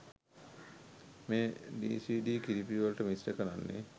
මේ ඩීසීඩී කිරිපිටිවලට මිශ්‍ර කරන්නේ.